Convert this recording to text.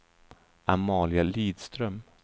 Amalia Lidström